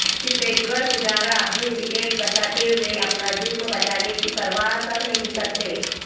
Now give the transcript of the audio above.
چتیشور پجارا اپنی وکٹ بچاتے ہوئے اپنا جسم بچانے کی پرواہ تک نہیں کرتے